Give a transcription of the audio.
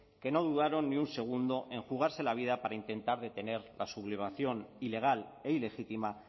que no dudaron ni un segundo en jugarse la vida para intentar detener la sublevación ilegal e ilegítima